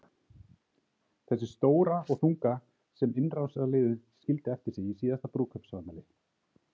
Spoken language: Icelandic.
Þessi stóra og þunga sem innrásarliðið skildi eftir sig í síðasta brúðkaupsafmæli?